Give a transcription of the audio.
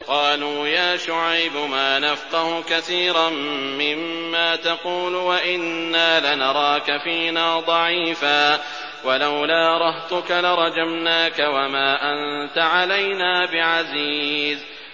قَالُوا يَا شُعَيْبُ مَا نَفْقَهُ كَثِيرًا مِّمَّا تَقُولُ وَإِنَّا لَنَرَاكَ فِينَا ضَعِيفًا ۖ وَلَوْلَا رَهْطُكَ لَرَجَمْنَاكَ ۖ وَمَا أَنتَ عَلَيْنَا بِعَزِيزٍ